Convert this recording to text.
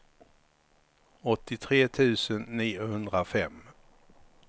åttiotre tusen niohundrafem